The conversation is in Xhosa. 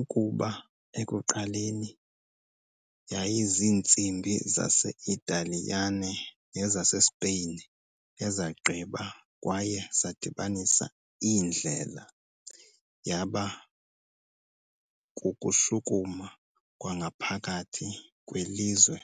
Ukuba ekuqaleni yayiziintsimbi zase-Italiyane nezaseSpain ezagqiba kwaye zadibanisa iindlela, yaba kukushukuma kwangaphakathi kwilizwe